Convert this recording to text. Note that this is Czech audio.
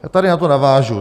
Já tady na to navážu.